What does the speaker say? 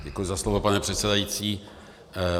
Děkuji za slovo, pane předsedající.